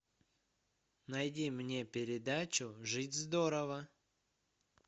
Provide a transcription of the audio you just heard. найди мне передачу жить здорово